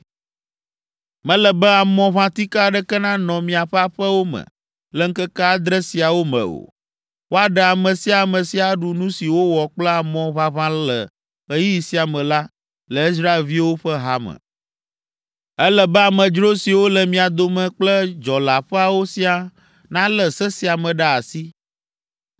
Mele be amɔʋãtike aɖeke nanɔ miaƒe aƒewo me le ŋkeke adre siawo me o. Woaɖe ame sia ame si aɖu nu si wowɔ kple amɔ ʋaʋã le ɣeyiɣi sia me la le Israelviwo ƒe hame. Ele be amedzro siwo le mia dome kple dzɔleaƒeawo siaa nalé se sia me ɖe asi.